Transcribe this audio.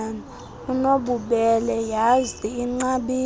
unobubele yhazi inqabile